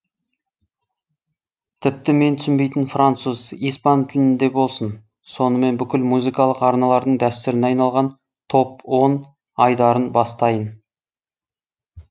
тіпті мен түсінбейтін француз испан тілінде болсын сонымен бүкіл музыкалық арналардың дәстуріне айналған топ он айдарын бастайын